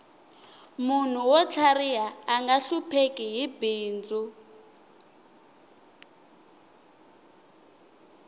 munhu wo tlhariha anga hlupheki hi bindzu